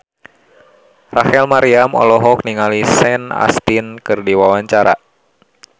Rachel Maryam olohok ningali Sean Astin keur diwawancara